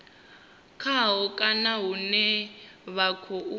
khaho kana hune vha khou